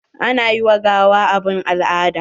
Ana yi wa gawa abun al'ada